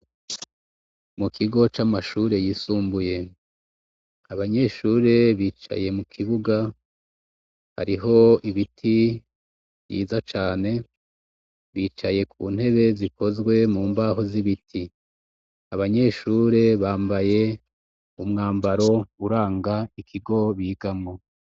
Mu kigo c'amashure yisumbuye. Abanyeshure bicaye mu kibuga. Hariho ibiti vyiza cane, bicaye ku ntebe zikozwe mbaho z'ibiti. Abanyeshure bambaye umwambaro uranga ikigo bigamwo..